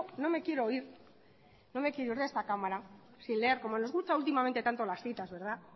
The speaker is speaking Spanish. ir de esta cámara sin leer como nos gusta últimamente tanto las citas